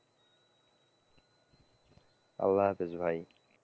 আল্লাহ হাফিজ ভাই।